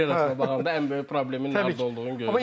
Arazın karyerasına baxanda ən böyük problemi nə olduğunu görürük.